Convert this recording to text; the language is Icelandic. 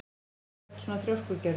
Af hverju ertu svona þrjóskur, Gerður?